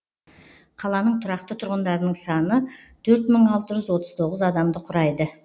қаланың тұрақты тұрғындарының саны төрт мың алты жүз отыз тоғыз адамды құрайды